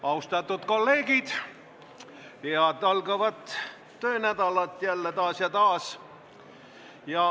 Austatud kolleegid, taas head algavat töönädalat!